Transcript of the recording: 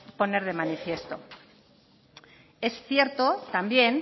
poner de manifiesto es cierto también